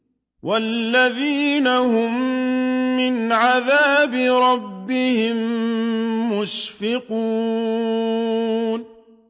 وَالَّذِينَ هُم مِّنْ عَذَابِ رَبِّهِم مُّشْفِقُونَ